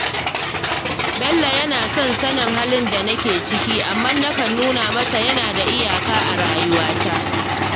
Bello yana son sanin halin da nake ciki, amma nakan nuna masa yana da iyaka a rayuwata